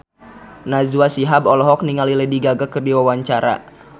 Najwa Shihab olohok ningali Lady Gaga keur diwawancara